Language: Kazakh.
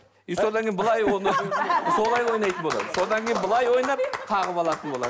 и содан кейін былай оны солай ойнайтын болады содан кейін былай ойнап қағып алатын болады